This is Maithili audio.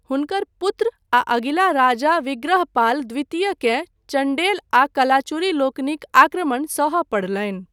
हुनकर पुत्र आ अगिला राजा विग्रहपाल द्वितीयकेँ चण्डेल आ कलाचुरी लोकनिक आक्रमण सहय पड़लनि।